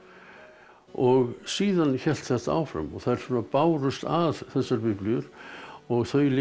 og síðan hélt þetta áfram og þær bárust að þessar biblíur og þau litu